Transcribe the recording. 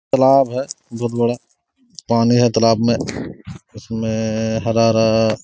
तालाब है बहुत बड़ा पानी है तालाब में उसमें हरा हरा--